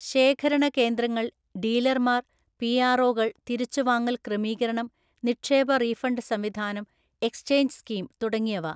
ശേഖരണ കേന്ദ്രങ്ങൾ ഡീലർമാർ പിആർഓ കൾ തിരിച്ചുവാങ്ങൽ ക്രമീകരണം നിക്ഷേപ റീഫണ്ട് സംവിധാനം എക്സ്ചേഞ്ച് സ്കീം തുടങ്ങിയവ.